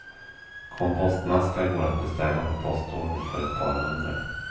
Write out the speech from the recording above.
Kompostmaskar går att beställa på postorder för ett par hundra.